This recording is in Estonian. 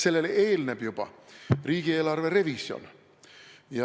Sellele eelneb juba riigieelarve revisjon.